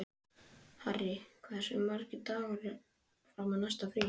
Harry, hversu margir dagar fram að næsta fríi?